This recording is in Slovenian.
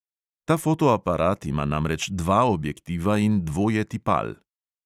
Ta fotoaparat ima namreč dva objektiva in dvoje tipal.